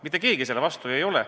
Mitte keegi selle vastu ju ei ole.